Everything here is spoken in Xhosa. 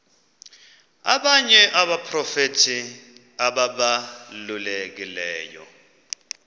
abanye abaprofeti ababalulekileyo